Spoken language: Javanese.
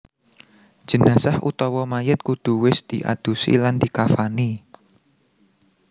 Jenazah/Mayit kudu wis diadusi lan dikafani